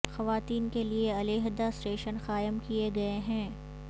خواتین کے لیے علیحدہ اسٹیشن قائم کئے گئے ہیں